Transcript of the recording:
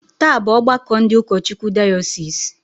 Taa bụ ọgbakọ ndị ụkọchukwu diosisi